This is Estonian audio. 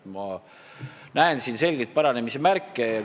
Ma näen siin selgeid paranemise märke.